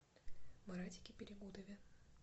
маратике перегудове